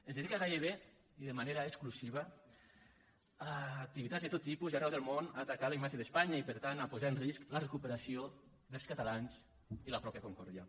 es dedica gairebé i de manera exclusiva a activitats de tot tipus i arreu del món a atacar la imatge d’espanya i per tant a posar en risc la recuperació dels catalans i la mateixa concòrdia